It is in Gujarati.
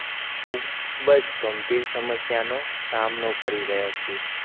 ખૂબ જ ગંભીર સમસ્યાનો સામનો કરી રહ્યા છીએ